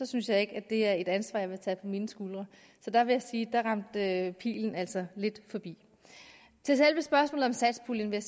synes jeg ikke det er et ansvar jeg vil tage på mine skuldre så jeg vil sige at dér ramte pilen altså lidt forbi til selve spørgsmålet om satspuljen vil